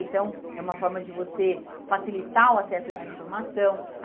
Então, é uma forma de você facilitar o acesso à informação.